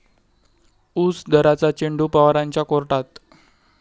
ऊस दराचा चेंडू पवारांच्या कोर्टात!